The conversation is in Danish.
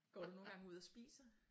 Går du nogle gange ud og spiser?